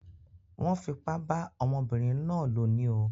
Wón fipá bá ọmọbínrin náà lò ní o